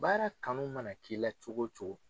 Baara kanu mana k'i la cogo cogo.